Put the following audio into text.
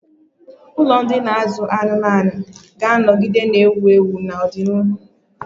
Ụlọ ụdị ndi na azu anumanu ga-anọgide na-ewu ewu na ọdịnihu.